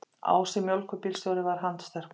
Ási mjólkurbílstjóri var handsterkur.